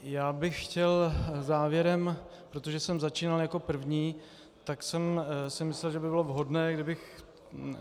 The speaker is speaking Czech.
Já bych chtěl závěrem, protože jsem začínal jako první, tak jsem si myslel, že by bylo vhodné, kdybych...